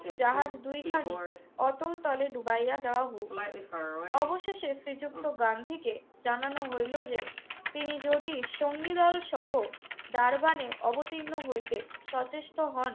জাহাজ দুইখানি অতলতলে ডুবাইয়া দেওয়া হউক। অবশেষে শ্রীযুক্ত গান্ধীকে জানানো হইলো যে তিনি যদি সঙ্গীদলসহ ডারবানে অবতীর্ণ হইতে সচেষ্ট হন